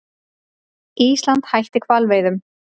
Ísland hætti hvalveiðum